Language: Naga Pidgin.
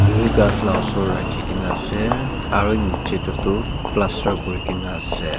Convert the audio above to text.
etu v kas la osor raki kina ase aro niji de tu plaster kuri kina ase.